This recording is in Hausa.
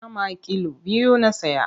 Nama kill biyu na saya.